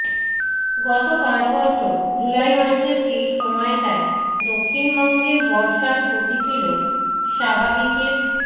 গত পাঁচ বছর জুলাই মাসের এই সময়টায় দক্ষিণবঙ্গে বর্ষার গতি ছিল স্বাভাবিকের